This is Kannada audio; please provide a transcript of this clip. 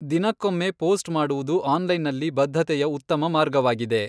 ದಿನಕ್ಕೊಮ್ಮೆ ಪೋಸ್ಟ್ ಮಾಡುವುದು ಆನ್ಲೈನ್ನಲ್ಲಿ ಬದ್ಧತೆಯ ಉತ್ತಮ ಮಾರ್ಗವಾಗಿದೆ.